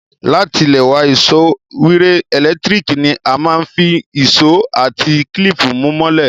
Látilẹ̀wá, ìsopọ́ wire ẹ́lẹ̀ntirikì ni a máa n fi ìsó àti clip mú mọ́lẹ̀